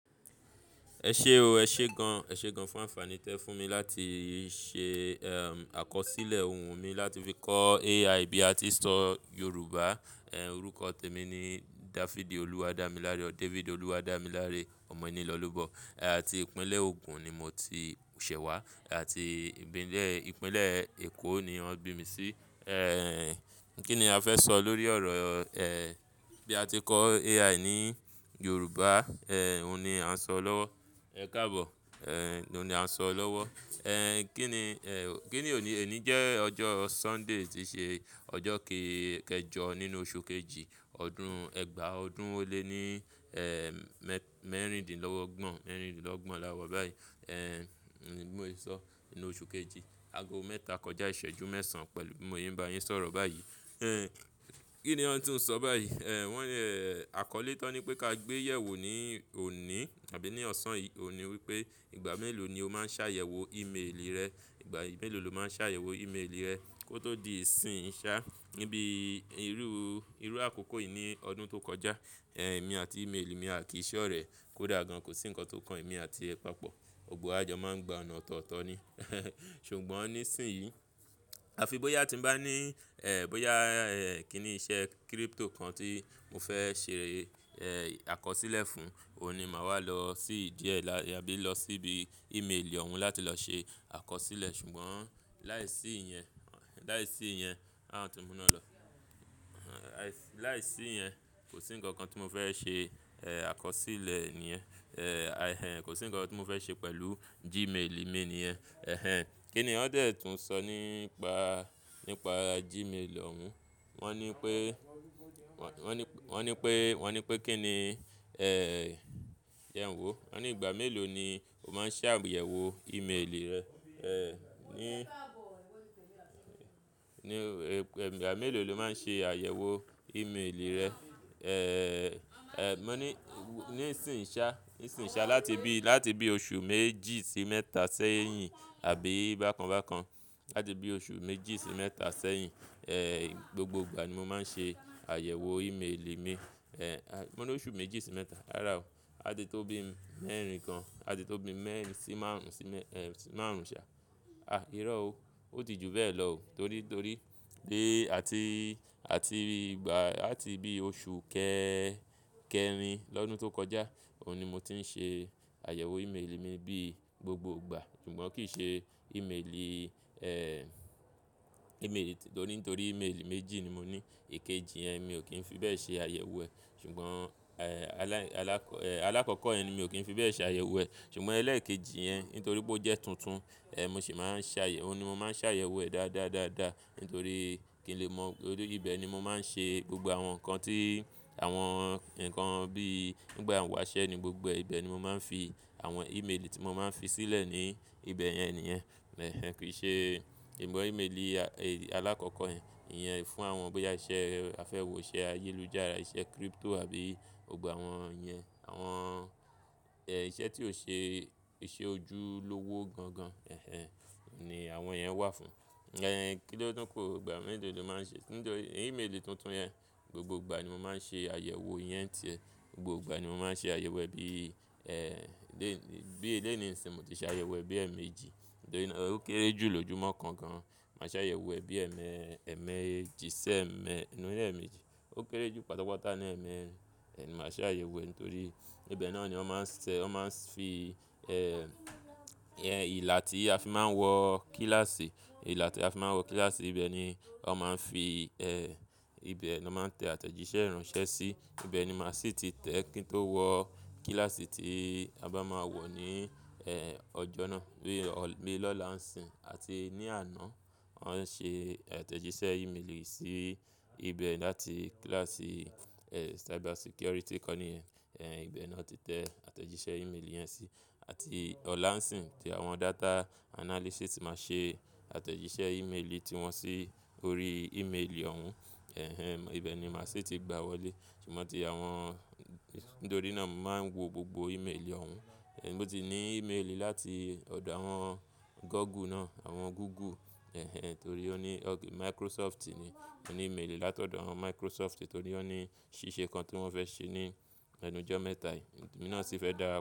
Ẹ ṣe o, ẹ ṣé gan. Ẹ ṣe gan fún àǹfàní tí ẹ fún mi láti ṣe, àkọsílẹ̀ ohùn mi láti fi kọ́ AI bí a ti ń sọ Yorùbá. Orúkọ tèmi ni Dafidi Oluwadámiláre or David Oluwadámiláre. Ọmọ ìnilọ́lọ́bọ̀ àti ìpínlẹ̀ Ogun ni mo ti ṣẹ̀ wá àti ìpínlẹ̀, ìpínlẹ̀ Èkó ni wọ́n bí mi sí. Kí ni a fẹ́ sọ lórí ọ̀rọ̀ bí a ti kọ́ AI ní Yorùbá, òun ni à ń sọ lọ́wọ́. Ẹ káàbọ̀, ló ni à ń sọ lọ́wọ́. Kí ni, eh, kí ni òní, òní jẹ́ ọjọ́ Sunday tíí ṣe ọjọ́ keejọ nínú oṣù kejì, ọdún Ẹgba ọdún ó lé ní, eh, mẹ́, mẹ́rìndínlógbon, mẹ́rìndínlógbon lá wa báyìí. Eh, mo lè sọ nínú oṣù kejì, ago mẹ́ta kọjá ìṣẹ́jú mẹ́sàn-án pẹ̀lú bi Mo se n bá yín sọ̀rọ̀ báyìí. Eh, kí ni wọ́n tún sọ báyìí? Eh, wọ́n, eh, àkọlé tán ní pé ká gbé yẹ̀wo ní òní àbí ní ọ̀sán yìí, òhun ní wípé ìgbà mélòó ni o máa ń ṣàyẹ̀wò email rẹ. Ìgbà mélòó lo máa ń ṣàyẹ̀wò email rẹ kó tó di ìsìn ìṣá. Níbi irú, irú àkókò yìí ní ọdún tó kọjá, eh, èmi àti email mi a kì í ṣọ̀rẹ́. Kódà gan kò sí ǹkan tó kan èmi àti ẹ papọ̀. Òògùn àjọ máa ń gba ọ̀nà ọ̀tọ̀ọ̀tọ̀ ni. Ṣùgbọ́n ní ìsìn yìí, a fi bóyá tí mo bá ní, eh, bóyá, eh, kí ni iṣẹ́ crypto kan tí mo fẹ́ ṣe, eh, àkọsílẹ̀ fún, òun ni màá wà lọ sí díẹ̀ lá, àbí lọ síbi email òun láti lọ ṣe àkọsílẹ̀. Ṣùgbọ́n láìsí ìyẹn, láìsí ìyẹn, àh won ti mú iná lọ, láìsí ìyẹn kò sí ǹkan kan tí mo fẹ́ ṣe, eh, àkọsílẹ̀ níyẹn. Eh, a, ẹhn, kò sí ǹkan tí mo fẹ́ ṣe pẹ̀lú Gmail mail níyẹn. Ehẹn. Kí ni wọn dè tún sọ nípa, nípa Gmail òun? Wọ́n ní pé, wọ́n ní, wọ́n ní pé, wọ́n ní pé kí ni, eh, jẹ n wo. Wọ́n ní ìgbà mélòó ni o máa ń ṣàyẹ̀wò email rẹ, eh, ní, ní, ìgbà mélòó lo máa ń ṣe àyẹ̀wò email rẹ? Eh, ẹhn, ní ní ìsìnyi ṣá, ìsìnyi ṣá láti bí, láti bí oṣù méjì sí mẹ́ta sẹ́yìn àbí bákan bákan. Láti bí oṣù méjì sí mẹ́ta sẹ́yìn, eh, gbogbo ìgbà ni mo máa ń ṣe àyẹ̀wò email mi. Eh, mo ní oṣù méjì sí mẹ́ta. Rárá o, á ti tó bí mẹ́rin gan, á ti tó bí mẹ́rin sí márùn-ún sí mẹ, sí márùn-ún ṣá. Ah, irọ́ o. Ó ti ju bẹ́ẹ̀ lọ o torí, torí lé àti, àti ìgbà, àti bí oṣù kẹrin lọ́dún tó kọjá, òun ni mo ti ń ṣe àyẹ̀wò email mi bí gbogbo ìgbà. Ṣùgbọ́n kì í ṣe email, eh, email, torí, nítorí email méjì ni mo ní. Ikejì yẹn mi ò kí ń fi bẹ́ẹ̀ ṣe àyẹ̀wò ẹ̀. Ṣùgbọ́n, eh, alá, alákọ, eh, alákọ̀ọ́kọ́ yẹn ni mi ò kí ń fi bẹ́ẹ̀ ṣe àyẹ̀wò ẹ̀. Ṣùgbọ́n ẹlẹ́ẹ̀kejì yẹn nítorí pé ó jẹ́ tuntun, eh, mo sì máa ń ṣàyẹ̀wò, òun ni mo máa ń ṣàyẹ̀wò ẹ̀ dáadáa dáadáa nítorí kí n lè mọ̀. Nítorí ibẹ̀ ni mo máa ń ṣe gbogbo àwọn nǹkan tí àwọn nǹkan bí nígbà wàṣẹ́ ni gbogbo e. Ibẹ̀ ni mo máa ń fi àwọn email tí mo máa ń fi sílẹ̀ ní ibẹ̀ yẹn nìyẹn. Ehẹn. Kì í ṣe, email alákọ̀ọ́kọ́ yẹn, ìyẹn fún àwọn bóyá iṣẹ́ afẹ́wọṣẹ̀ ayélujára, iṣẹ́ crypto àbí gbogbo àwọn yẹn. Àwọn, eh, iṣẹ́ tí ó ṣe, ṣe ojúlówó gan gan, ehẹn, ni àwọn yẹn wà fún. Eh, kí ló dún kò, ìgbà mélòó lo máa ń ṣe-- nítorí email tuntun yẹn gbogbo ìgbà ni mo máa ń ṣe àyẹ̀wò yẹn ni tìe. Gbogbo ìgbà ni mo máa ń ṣe àyẹ̀wò ẹ bí, eh, lé, bí lẹ́ni ìnìṣìn mo ti ṣe àyẹ̀wò ẹbí ẹ̀mẹ́jì. Nítorí pé ó kéré jù lójúmọ́ kan gan. Màá ṣe àyẹ̀wò ẹ bí ẹmẹ, ẹmẹ jí ṣi ẹ̀ mẹ, ni ẹ́mẹ́jì. Ó kéré jù pátápátá ní ẹmẹ. Eh, ni màá ṣe àyẹ̀wò ẹ nítorí ibẹ̀ náà ni wọ́n máa ń ṣe, wọ́n máa ń fi, eh, yẹn ìlà tí a fi máa ń wọ kíláàsì, ìlà tí a fi máa ń wọ kíláàsì ibẹ̀ ni wọ́n máa ń fi, eh, ibẹ̀ ni wọ́n máa ń tẹ àtẹ̀jíṣẹ́ ìránṣẹ́ sí. Ibẹ̀ ni màá sì ti tẹ kí n tó wọ kíláàsì tí a bá máa wọ̀ ní, eh, ọjọ́ náà. Bíi ọ̀, bíi lọ́la ń sìn àti ní àná, wọ́n ṣe àtẹ̀jíṣẹ́ email sí ibẹ̀ láti kíláàsì, eh, cyber security kọ́ ni yẹn. Eh, ibẹ̀ náà ti tẹ àtẹ̀jíṣẹ́ email yẹn sí. Àti ọ̀la ń sìn tí àwọn data analysis ti máa ṣe àtẹ̀jíṣẹ́ email ti wọn sí orí email òun. Ehẹn. Ibẹ̀ ni màá sì ti gba wọlé. Ṣùgbọ́n tí àwọn-- nítorí náà mo máa ń wo gbogbo email òun. Mo ti ní email láti ọ̀dọ̀ àwọn Google náà, àwọn Google. Ehẹn. Torí ó ní ọ́, Microsoft ni, mo ní email látọ̀dọ̀ àwọn Microsoft torí wọ́n ní ṣíṣe kan tí wọ́n fẹ́ ṣe ní ẹnujọ́ mẹ́ta yìí. Èmi náà sì fẹ́ dárapọ́.